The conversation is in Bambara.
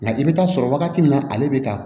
Nka i bɛ taa sɔrɔ wagati min na ale bɛ ta